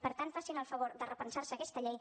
per tant facin el favor de repensar se aquesta llei